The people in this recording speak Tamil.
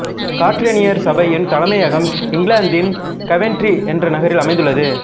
கற்றேனியர் சபையின் தலைமையகம் இங்கிலாந்தின் கவென்ட்ரி என்ற நகரில் அமைந்துள்ளது